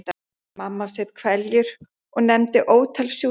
Mamma saup hveljur og nefndi ótal sjúkdóma.